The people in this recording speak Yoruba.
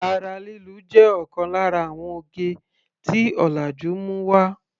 Ara lílu jé òkan lára àwon oge tí ọ̀làjú mú wá.